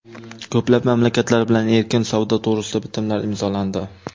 Ko‘plab mamlakatlar bilan erkin savdo to‘g‘risida bitimlar imzolandi.